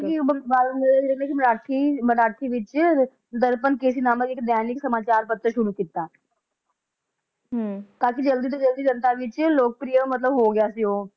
ਉਹ ਬਾਲ ਗੰਗਾਧਰ ਜੀ ਨੇ ਇੱਕ ਮਰਾਠੀ ਮਰਾਠੀ ਵਿਚ ਦਰਪਣ ਕੇਸਰੀ ਨਾਮਕ ਇੱਕ ਦੈਨਿਕ ਸਮਾਚਾਰ ਪੱਤਰ ਸ਼ੁਰੂ ਕੀਤਾ ਹਮ ਕਾਫੀ ਜਲਦੀ ਤੋਂ ਜਲਦੀ ਜਨਤਾ ਵਿਚ ਲੋਕਪ੍ਰਿਯ ਮਤਲਬ ਹੋ ਗਿਆ ਸੀ ਉਹ